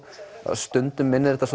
stundum minnir þetta